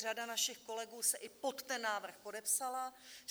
Řada našich kolegů se i pod ten návrh podepsala.